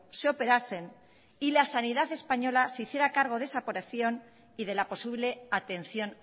se operasen y la sanidad española se hiciera cargo de esa operación y de la posible atención